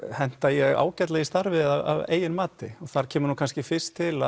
henta ég ágætlega í starfið að eigin mati og þar kemur kannski fyrst til